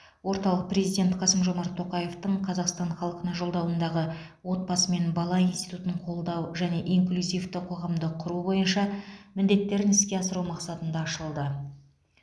орталық президент қасым жомарт тоқаевтың қазақстан халқына жолдауындағы отбасы мен бала институтын қолдау және инклюзивті қоғамды құру бойынша міндеттерін іске асыру мақсатында ашылды